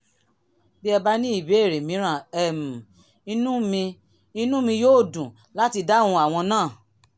bí ẹ bá ní ìbéèrè mìíràn um inú mi inú mi yóò dùn láti dáhùn àwọn náà